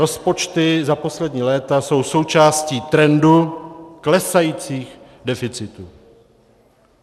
Rozpočty za poslední léta jsou součástí trendu klesajících deficitů.